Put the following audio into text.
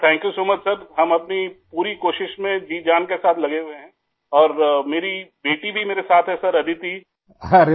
sir thank you so much sir I हम अपनी पूरी कोशिश में जीजान के साथ लगे हुए हैं और मेरी बेटी भी मेरे साथ है सर अदिति आई